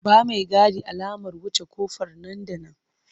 Ba maigadin alamar wuce ƙofar nan da nan!